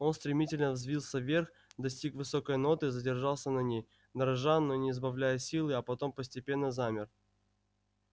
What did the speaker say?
он стремительно взвился вверх достиг высокой ноты задержался на ней дрожа но не сбавляя силы а потом постепенно замер